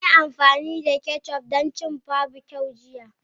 Mun yi amfani da ketchup don cin kifi barbecue jiya.